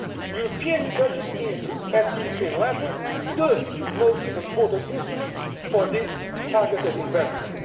The European budget is, at the European level, the most important instrument for this targeted investment.